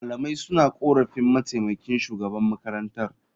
Malamai suna korafin mataimakin shugaban makarantar.